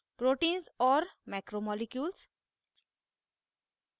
* proteins और macromolecules